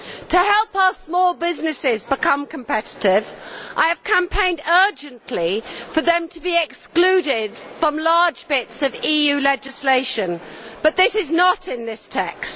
To help our small businesses become competitive, I have campaigned urgently for them to be excluded from large bits of EU legislation, but that is not in this text.